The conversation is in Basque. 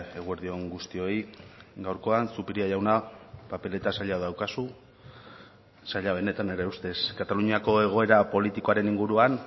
eguerdi on guztioi gaurkoan zupiria jauna papeleta zaila daukazu zaila benetan nire ustez kataluniako egoera politikoaren inguruan